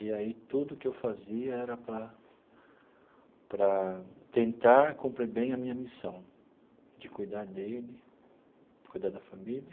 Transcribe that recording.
E aí tudo o que eu fazia era para para tentar cumprir bem a minha missão de cuidar dele, cuidar da família.